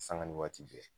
Sanga ni waati bɛɛ